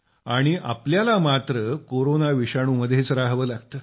आणि आपल्याला मात्र कोरोना विषाणू मध्येच राहावे लागते